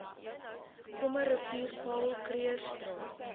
krommerivier paul krugerstraat